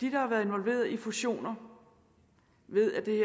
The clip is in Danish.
har været involveret i fusioner ved at det